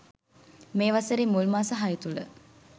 මේ වසරේ මුල් මාස හය තුළ